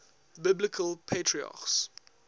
biblical patriarchs